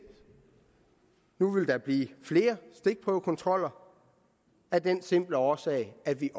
nu vil der blive flere stikprøvekontroller af den simple årsag at vi